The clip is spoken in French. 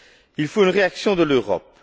Il faut une réaction de l'Europe.